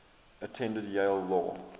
attended yale law